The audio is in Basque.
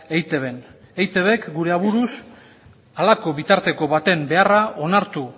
eitbn eitbk gure aburuz halako bitarteko baten beharra onartu